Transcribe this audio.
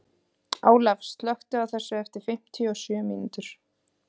Olaf, slökktu á þessu eftir fimmtíu og sjö mínútur.